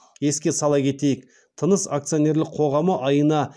еске сала кетейік тыныс акционерлік қоғамы айына